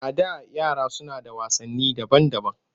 A da yara suna da wasanni daban-daban